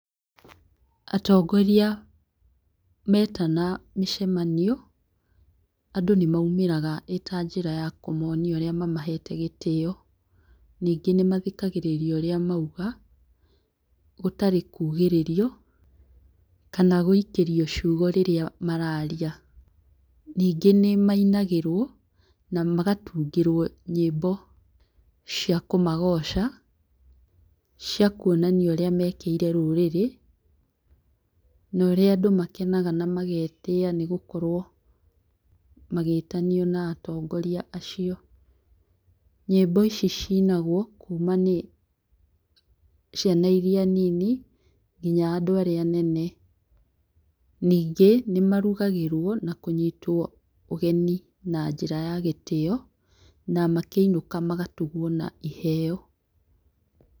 Atongoria metana mĩcemanio, andũ nĩ maumĩraga ĩ ta njĩra ya kũmonia ũrĩa mamahete gĩtĩo. Ningĩ nĩmathikagĩrĩrio ũrĩa mauga gũtarĩ kũgĩrĩrio kana gũikĩrio ciugo rĩrĩa maraaria. Ningĩ nĩ mainagĩrwo na magatungĩrwo nyĩmbo cia kũmagoca, ciakuonania ũrĩa mekĩire rũrĩrĩ, na ũrĩa andũ makenaga na magetĩa nĩ gũkorwo magĩtanio na atongoria caio. Nyĩmbo ici cinagwo kuma nĩ ciana iria nyinyi nginya andũ arĩa anene. Ningĩ nĩ marugagĩrwo na kũnyĩtwo ũgeni na njĩra ya gĩtĩyo na makĩinũka magatugwo na iheo.